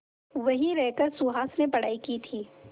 वहीं रहकर सुहास ने पढ़ाई की थी